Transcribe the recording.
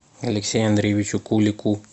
алексею андреевичу кулику